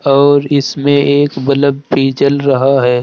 और इसमें एक बलब भी जल रहा है।